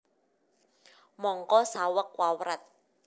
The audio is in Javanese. Mangka saweg wawrat